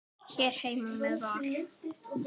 Hér heima með Val.